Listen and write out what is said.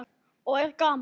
Og er gaman?